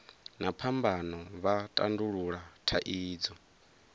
na phambano vha tandulula thaidzo